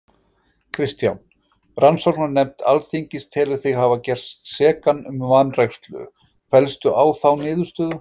Kristján: Rannsóknarnefnd Alþingis telur þig hafa gerst sekan um vanrækslu, fellstu á þá niðurstöðu?